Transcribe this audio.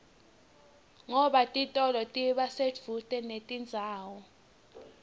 ngoba titolo tiba sedvute nendzawo